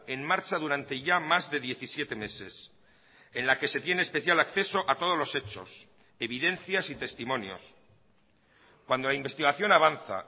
en marcha durante ya más de diecisiete meses en la que se tiene especial acceso a todos los hechos evidencias y testimonios cuando la investigación avanza